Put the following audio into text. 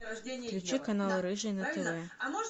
включи канал рыжий на тв